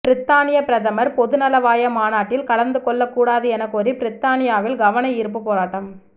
பிரித்தானியப் பிரதமர் பொதுநலவாய மாநாட்டில் கலந்துகொள்ளக் கூடாது எனக் கோரி பிரித்தானியாவில் கவனயீர்ப்புப் போராட்டம்